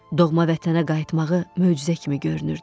Doğma vətənə qayıtmağı möcüzə kimi görünürdü.